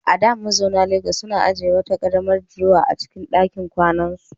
A da, mazauna Legas suna ajiye wata karamar durowa a cikin dakin kwanansu.